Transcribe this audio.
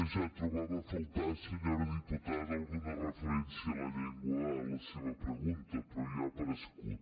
ja trobava a faltar senyora diputada alguna referència a la llengua en la seva pregunta però ja ha aparegut